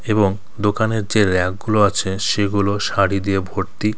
এবং দোকানের যে র্যাকগুলো আছে সেগুলো শাড়ি দিয়ে ভর্তি।